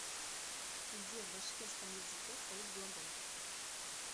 где в башкирском языке стоит глагол